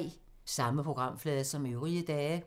Samme programflade som øvrige dage